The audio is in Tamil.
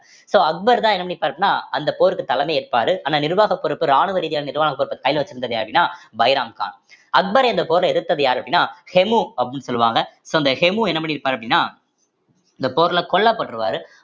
so அக்பர்தான் என்ன பண்ணிருப்பாரு அப்படின்னா அந்த போருக்கு தலைமை ஏற்பாரு ஆனா நிர்வாக பொறுப்பு ராணுவ ரீதியான நிர்வாகப் பொறுப்ப கையில வச்சிருந்தது யாரு அப்படின்னா பைராம் கான் அக்பர் இந்த போர்ல எதிர்த்தது யாரு அப்படின்னா ஹெமு அப்படின்னு சொல்லுவாங்க so அந்த ஹெமு என்ன பண்ணிருப்பார் அப்படின்னா இந்த போர்ல கொல்லப்பட்டுருவாரு